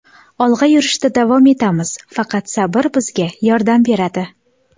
Olg‘a yurishda davom etamiz, faqat sabr bizga yordam beradi.